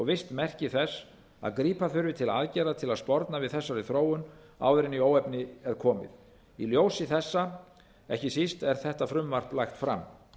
visst merki þess að grípa þurfi til aðgerða til að sporna við þessari þróun áður en í óefni er komið í ljósi þessa ekki síst er þetta frumvarp lagt fram